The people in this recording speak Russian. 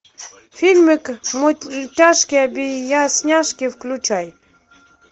фильмик мультяшки объясняшки включай